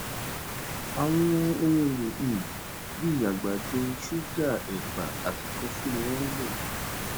àwọn ohun èlò um bíi àgbàdo ṣúgà èpà àti kọfí ni wón ń lò